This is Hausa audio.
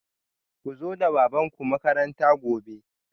Ku zo da babanku makaranta gobe